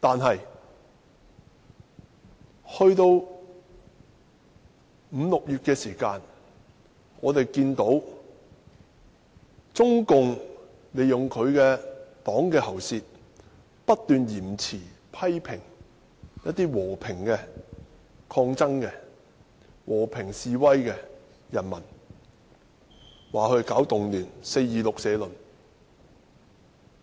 然而，五六月時，我們看到中共利用黨的"喉舌"，不斷批評和平示威抗爭的人民，指責他們搞動亂，發表了"四二六社論"。